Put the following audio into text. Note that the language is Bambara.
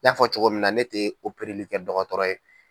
N y'a fɔ cogo min na ne tɛ opereli kɛ dɔgɔtɔrɔ ye.